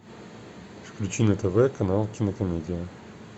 включи на тв канал кинокомедия